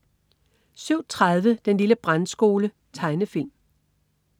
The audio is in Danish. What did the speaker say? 07.30 Den lille brandskole. Tegnefilm